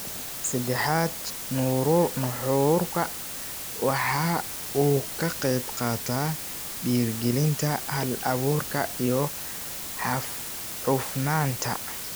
Saddexaad, nuxurku waxa uu ka qaybqaata dhiirigelinta hal-abuurka iyo hufnaanta.